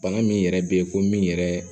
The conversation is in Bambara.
Bana min yɛrɛ bɛ ye ko min yɛrɛ